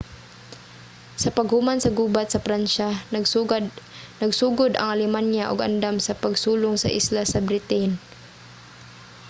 sa paghuman sa gubat sa pransya nagsugod ang alemanya og andam sa pagsulong sa isla sa britain